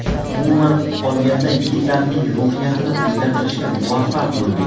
Umuman olganda yigitlarning ruhiyatini o‘zgartirishga muvaffaq bo‘ldik.